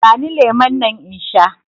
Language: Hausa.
Ban lemun nan in sha!